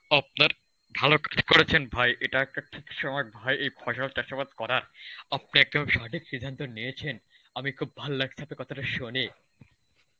আপনার ভালো ঠিক করেছেন ভাই এটা একটা ঠিক সময় এই ফসল চাষাবাদ করার. আপনি একদম সঠিক সিদ্ধান্ত নিয়েছেন. আমি খুব ভালো লাগছে আপনার কথাটা শুনে.